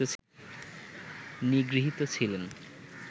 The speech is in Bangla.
নিগৃহীত ছিলেন